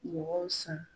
Mɔgɔw san